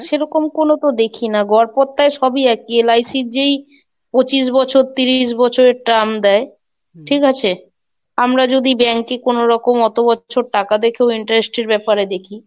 সেরকম কোনো তো দেখি না গো, গড়পত্তায় সবই একই. LiC র যেই পঁচিশ বছর তিরিশ বছরের term দেয় আমরা যদি bank এ কোনরকম অত বছর টাকা দেখেও interest র ব্যাপারে দেখি,